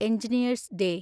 engineers day